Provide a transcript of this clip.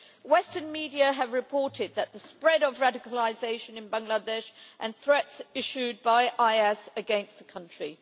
Western media have reported the spread of radicalisation in Bangladesh and threats issued by IS against that country.